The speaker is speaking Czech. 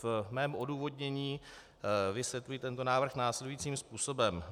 Ve svém odůvodnění vysvětluji tento návrh následujícím způsobem.